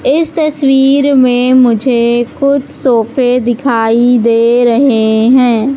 इस तस्वीर में मुझे कुछ सोफे दिखाई दे रहे है।